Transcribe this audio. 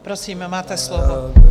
Prosím, máte slovo.